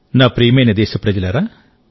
నా ప్రియమైన దేశప్రజలారా